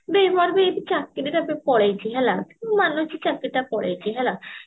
ବେ ମୋର ବି ଏଇଠି ଚାକିରି ଟା ବି ପଳେଇଛି ହେଲା ମୁଁ ମାନୁଛି ଚାକିରି ଟା ପଳେଇଛି ହେଲା